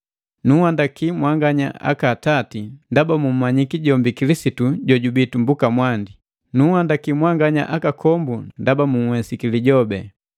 Nunhandaki mwanganya aka atati ndaba mmanyiki jombi Kilisitu jojubii tumbuka mwandi. Nunhandaki mwanganya akakombu ndaba munhwesiki Lijobi.